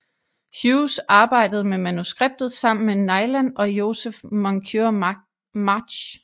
Hughes arbejdede med manuskriptet sammen med Neilan og Joseph Moncure March